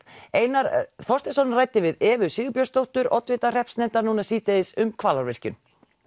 einar ræddi við Evu Sigurbjörnsdóttur oddvita hreppsnefndar núna síðdegis um Hvalárvirkjun